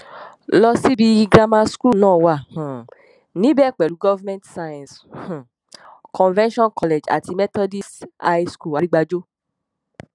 lọṣíbí grammar school náà wà um níbẹ pẹlú government science um convention college àti methodist high school àrígbájọ